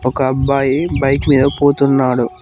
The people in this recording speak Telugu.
ఒక అబ్బాయి బైక్ మీద పోతున్నాడు.